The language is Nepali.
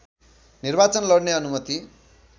निर्वाचन लड्ने अनुमति